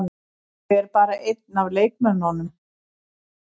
Ég er bara einn af leikmönnunum.